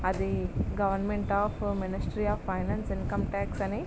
అది government of ministry of finance income tax అని --